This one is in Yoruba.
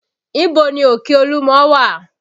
Ibo ni òkè olúmọ wà?